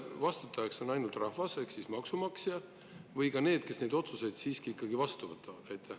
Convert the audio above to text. Kas vastutajaks on ainult rahvas ehk siis maksumaksja või siiski ka need, kes neid otsuseid vastu võtavad?